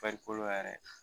Farikolo yɛrɛ